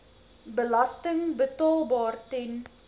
belasting betaalbaar ten